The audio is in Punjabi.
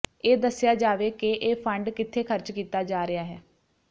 ਇਹ ਦੱਸਿਆ ਜਾਵੇ ਕਿ ਇਹ ਫੰਡ ਕਿੱਥੇ ਖਰਚ ਕੀਤਾ ਜਾ ਰਿਹਾ ਹੈ